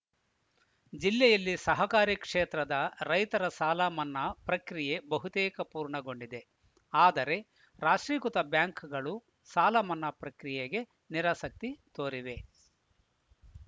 ಜಿಲ್ಲೆಯಲ್ಲಿ ಸಹಕಾರಿ ಕ್ಷೇತ್ರದ ರೈತರ ಸಾಲ ಮನ್ನಾ ಪ್ರಕ್ರಿಯೆ ಬಹುತೇಕ ಪೂರ್ಣಗೊಂಡಿದೆ ಆದರೆ ರಾಷ್ಟ್ರೀಕೃತ ಬ್ಯಾಂಕ್‌ಗಳು ಸಾಲ ಮನ್ನಾ ಪ್ರಕ್ರಿಯೆಗೆ ನಿರಾಸಕ್ತಿ ತೋರಿವೆ